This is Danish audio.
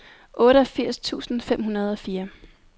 otteogfirs tusind fem hundrede og fire